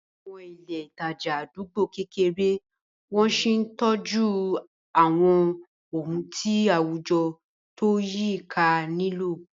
Àwọn ilé ìtajà àdúgbò kéré wọ́n sì ń tọ́jú àwọn ohun tí àwùjọ tó yí i ká nílò.